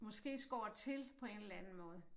Måske skåret til på en eller anden måde